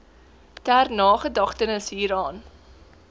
ter nagedagtenis hieraan